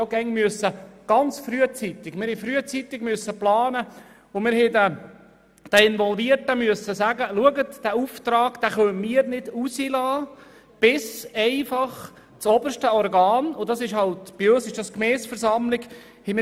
Wir mussten immer sehr frühzeitig planen und den Involvierten sagen: Schauen Sie, diesen Auftrag können wir nicht erteilen, bis das oberste Organ dazu ja sagt.